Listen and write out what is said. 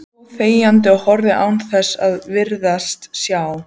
Hann stóð þegjandi og horfði án þess að virðast sjá.